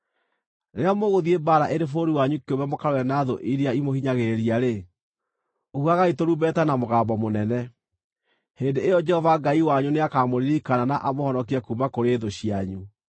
Rĩrĩa mũgũthiĩ mbaara ĩrĩ bũrũri wanyu kĩũmbe mũkarũe na thũ iria imũhinyagĩrĩria-rĩ, huhagai tũrumbeta na mũgambo mũnene. Hĩndĩ ĩyo Jehova Ngai wanyu nĩakamũririkana na amũhonokie kuuma kũrĩ thũ cianyu.